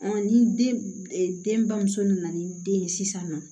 ni den bamuso nana ni den ye sisan nɔ